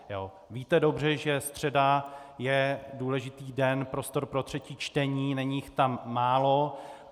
Víte dobře, že středa je důležitý den, prostor pro třetí čtení, není jich tam málo.